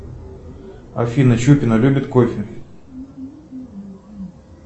афина щупина любит кофе